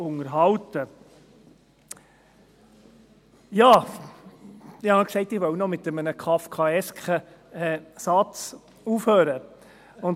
Nun, ich habe ja angekündigt, dass ich mit einem kafkaesken Satz aufhören will.